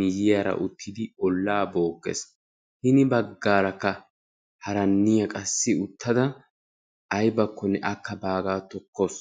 miyiyaara uttidi ollaa bookkees. hini baggaarakka haranniyaa qassi uttada aybakonne akka baagaa tokkawus.